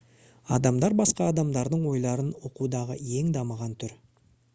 адамдар басқа адамдардың ойларын оқудағы ең дамыған түр